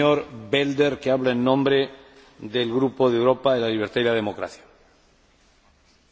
Voorzitter, over de financiële en economische situatie in Moldavië kunnen wij kort zijn.